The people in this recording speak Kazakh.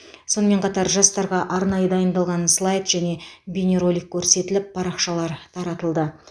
сонымен қатар жастарға арнайы дайындалған слайд және бейнеролик көрсетіліп парақшалар таратылды